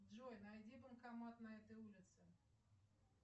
джой найди банкомат на этой улице